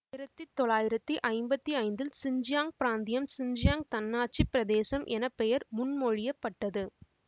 ஆயிரத்தி தொள்ளாயிரத்தி ஐம்பத்தி ஐந்தில் சிஞ்சியாங் பிராந்தியம் சிஞ்சியாங் தன்னாட்சி பிரதேசம் என பெயர் முன்மொழியப்பட்டது